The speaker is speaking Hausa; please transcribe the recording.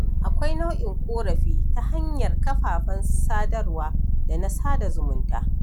Akwai nau'in ƙorafi ta hanyar kafafen sadarwa da na sada zumunta.